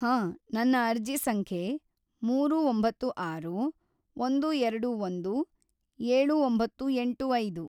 ಹಾಂ, ನನ್ನ ಅರ್ಜಿ ಸಂಖ್ಯೆ ಮೂರು ಒಂಬತ್ತು ಆರು ಒಂದು ಎರಡು ಒಂದು ಏಳು ಒಂಬತ್ತು ಎಂಟು ಐದು.